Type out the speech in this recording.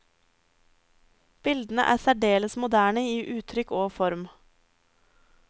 Bildene er særdeles moderne i uttrykk og form.